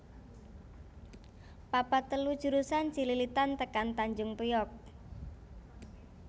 papat telu jurusan Cililitan tekan Tanjung Priok